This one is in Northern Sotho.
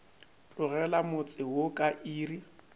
tlogela motse wo ka iri